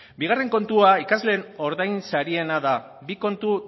bigarren kontua ikasleen ordainsariena da bi kontu